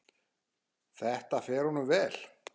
Það fer honum vel.